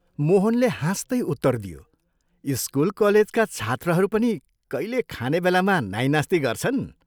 मोहनले हाँस्तै उत्तर दियो "स्कूल कलेजका छात्रहरू पनि कैले खाने बेलामा नाहिं नास्ति गर्छन्?